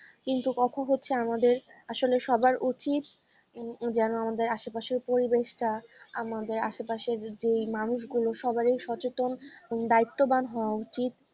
কিন্তু কথা হচ্ছে আমাদের আসলে সবার উচিত যেন আমাদের আশেপাশে পরিবেশটা আমাদের আশেপাশের যেই মানুষগুলো সবারই সচেতন দায়িত্ববান হওয়া উচিত।